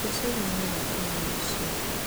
Cũcũ auga nĩ agakuona rũciũ